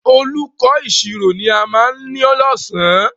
Olùkó ìṣirò ni a ma ní lọ̀sán